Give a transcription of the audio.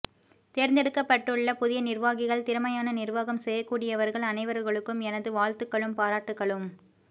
தேர்ந்தெடுக்கப்பட்டுள்ள புதிய நிர்வாகிகள் திறமையான நிர்வாகம் செய்யக்கூடியவர்கள் அனைவர்களுக்கும் எனது வாழ்த்துக்களும் பாராட்டுக்களும்